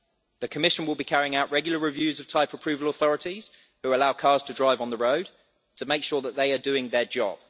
The Commission will be carrying out regular reviews of type approval authorities who allow cars to drive on the road to make sure that they are doing their job.